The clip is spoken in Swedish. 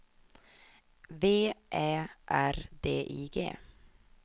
V Ä R D I G